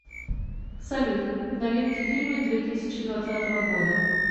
салют новинки фильмы две тысячи двадцатого года